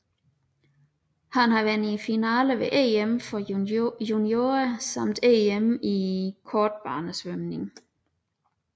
Han har været i finalen ved EM for juniorer samt EM i kortbanesvømning